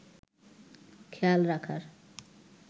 খেয়াল রাখার